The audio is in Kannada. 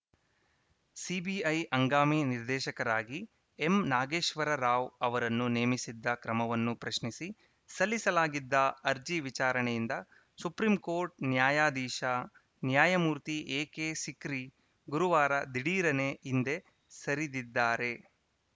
ಸಿಬಿಐ ಹಂಗಾಮಿ ನಿರ್ದೇಶಕರಾಗಿ ಎಂನಾಗೇಶ್ವರರಾವ್‌ ಅವರನ್ನು ನೇಮಿಸಿದ್ದ ಕ್ರಮವನ್ನು ಪ್ರಶ್ನಿಸಿ ಸಲ್ಲಿಸಲಾಗಿದ್ದ ಅರ್ಜಿ ವಿಚಾರಣೆಯಿಂದ ಸುಪ್ರೀಂ ಕೋರ್ಟ್‌ ನ್ಯಾಯಾಧೀಶ ನ್ಯಾಯಮೂರ್ತಿ ಎಕೆ ಸಿಕ್ರಿ ಗುರುವಾರ ದಿಢೀರನೇ ಹಿಂದೆ ಸರಿದಿದ್ದಾರೆ